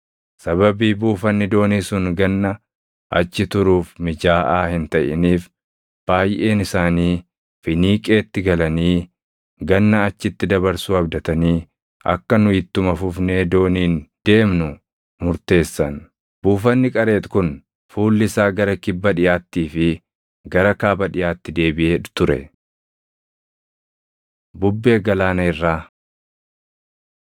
Sababii buufanni doonii sun ganna achi turuuf mijaaʼaa hin taʼiniif baayʼeen isaanii Finiiqeetti galanii ganna achitti dabarsuu abdatanii akka nu ittuma fufnee dooniin deemnu murteessan. Buufanni Qareexi kun fuulli isaa gara kibba dhiʼaattii fi gara kaaba dhiʼaatti deebiʼee ture. Bubbee Galaana Irraa